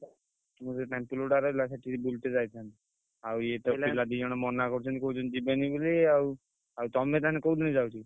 ରହିଲା ସେଠି ବୁଲିତେ ଯାଇଥାନ୍ତୁ। ଆଉ ଇଏତ ପିଲା ଦି ଜଣ ମନା କରୁଛନ୍ତି କହୁଛନ୍ତି ଯିବେନି ବୋଲି ଆଉ ଆଉ ତମେ ତାହେଲେ କୋଉ ଦିନ ଯାଉଛ?